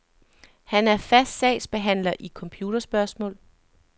Han er fast sagsbehandler i computerspørgsmål.